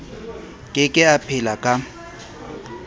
ke ke a phela ka